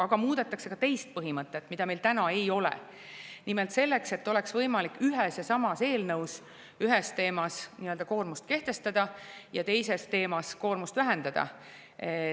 Aga ka teine põhimõte, mida meil praegu ei ole, et oleks võimalik ühes ja samas eelnõus ühe teema puhul koormust kehtestada ja teise teema puhul koormust vähendada.